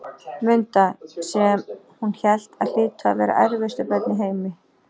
Munda, sem hún hélt að hlytu að vera erfiðustu börn í heimi.